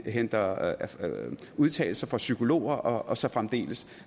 henter udtalelser fra psykologer og så fremdeles